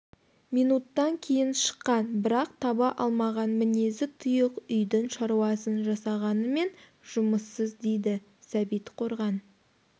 минуттан кейін шыққан бірақ таба алмаған мінезі тұйық үйдің шаруасын жасағанымен жұмыссыз дейді сәбит қорған